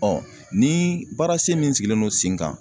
ni baara sen min sigilen don sen kan.